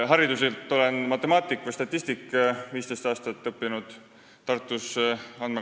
Hariduselt olen matemaatik, statistik, ja 15 aastat õppinud Tartus.